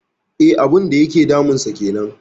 E, abun da yake damunsa kenan.